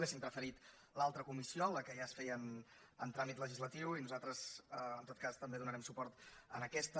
hauríem preferit l’altra comissió la que ja es feia amb tràmit legislatiu i nosaltres en tot cas també donarem suport a aquesta